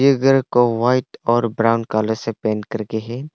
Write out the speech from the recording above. ये घर व्हाइट और ब्राउन कलर से पेंट करके है।